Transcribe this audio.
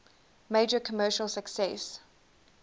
major commercial success